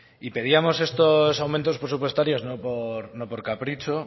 y pedíamos estos aumentos presupuestarios no por capricho